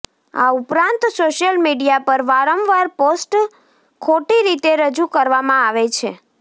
આ ઉપરાંત social media પર વારંવાર પોસ્ટ ખોટી રીતે રજૂ કરવામાં આવે છે